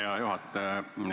Hea juhataja!